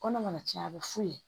Kɔnɔ mana tiɲɛ a bɛ f'u ye